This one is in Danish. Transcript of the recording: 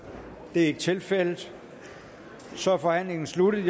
det er ikke tilfældet så er forhandlingen sluttet